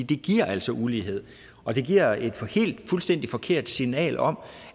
det giver altså ulighed og det giver et fuldstændig forkert signal om